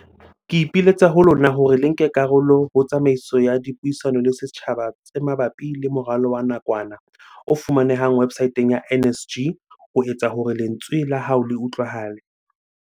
Ke ipiletsa ho lona hore le nke karolo ho tsamaiso ya dipuisano le setjhaba tse ma bapi le moralo wa nakwana, o fumanehang websaeteng ya NSG, ho etsa hore lentswe la hao le utlwahale.